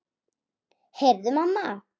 Heyrðu mamma!